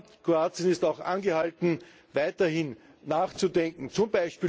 Aber Kroatien ist auch angehalten, weiterhin nachzudenken, z.